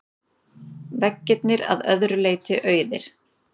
Veggirnir að öðru leyti auðir.